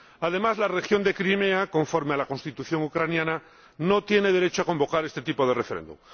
Además, la región de Crimea, conforme a la Constitución ucraniana, no tiene derecho a convocar este tipo de referéndum.